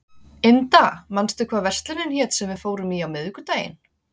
Inda, manstu hvað verslunin hét sem við fórum í á miðvikudaginn?